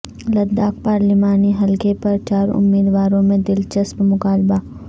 لداخ پارلیمانی حلقہ پر چار امیدواروں میں دلچسپ مقابلہ